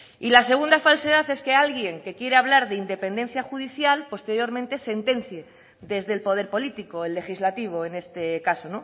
y la segunda falsedad es que alguien que quiere hablar de independencia judicial posteriormente sentencie desde el poder político el legislativo en este caso